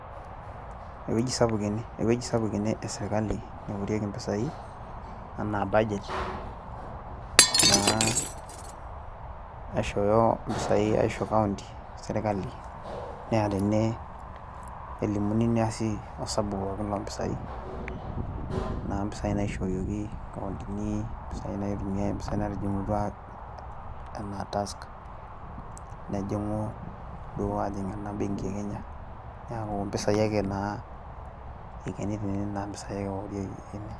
ewueji sapuk ene, ewueji sapuk ene esirkali neorieki mpisai anaa budget naa aishooyo mpisai aisho county sirkali naa tene elimuni neesi osabu pokin loo mpisai. naa mpisai naishooyieki nkauntini, mpisai naitumiae, mpisai naatijing'utua, anaa tax nejing'u duoo aajing ena benki e kenya. neeku mpisai akenaa eikeni tene, neeku mpisai eorieki tene.